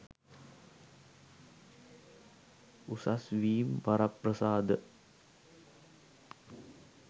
උසස් වීම් වරප්‍රසාද